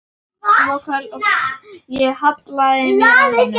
Ég hallaði mér að honum.